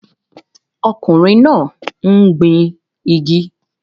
Ọkùnrin náà ń gbin igi